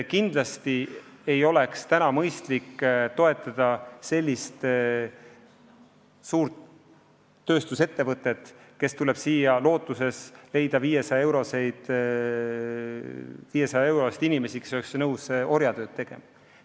Kindlasti ei oleks mõistlik toetada sellist suurt tööstusettevõtet, kes tuleb siia lootuses palgata 500 euro eest inimesi, kes oleks nõus orjatööd tegema.